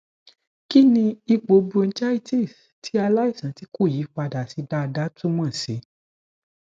kini ipo bronchitis ti alaisan ti ko yipada si dada tu mo si